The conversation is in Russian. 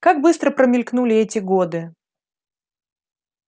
как быстро промелькнули эти годы